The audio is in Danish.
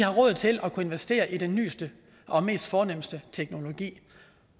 råd til at kunne investere i den nyeste og mest fornemme teknologi